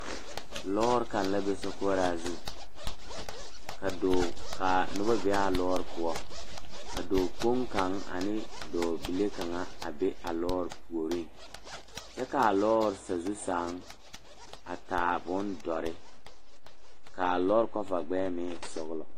Lɔɔre kaŋ la be sokoɔraa zu ka dɔɔ ka noba be a lɔɔre poɔ ka dɔɔkpoŋ kaŋ ane dɔɔ bile kaŋa a be a lɔɔre puoriŋ kyɛ k,a lɔɔre sazu seŋ a taa bondɔre k,a lɔre kɔva gbɛɛ meŋ e sɔglɔ.